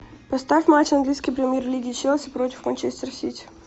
поставь матч английской премьер лиги челси против манчестер сити